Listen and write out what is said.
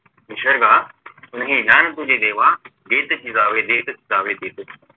निसर्गा नाही ज्ञान तुझे देवा देत फिरावे देत फिरावे देत फिरावे